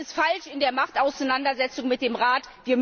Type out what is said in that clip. Das ist falsch in der Machtauseinandersetzung mit dem Rat.